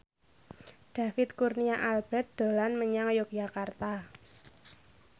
David Kurnia Albert dolan menyang Yogyakarta